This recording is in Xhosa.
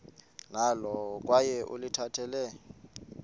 nalo kwaye ulikhathalele